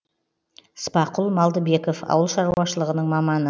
спақұл малдыбеков ауыл шаруашылығының маманы